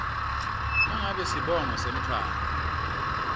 nangabe sibongo semntfwana